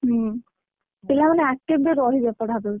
ହଁ, ପିଲାମାନେ active ବି ରହିବେ ପଢା ପାଇଁ।